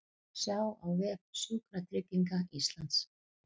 Sjá á vef Sjúkratrygginga Íslands